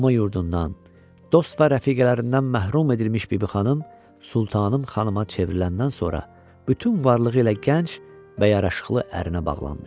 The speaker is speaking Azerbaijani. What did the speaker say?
Doğma yurdundan, dost və rəfiqələrindən məhrum edilmiş Bibixanım, sultanın xanımına çevriləndən sonra bütün varlığı ilə gənc və yaraşıqlı ərinə bağlandı.